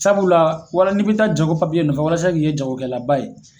Sabula wala n'i ko k'i bɛ taa jago nɔfɛ walasa i kun ye jagokɛlaba ye.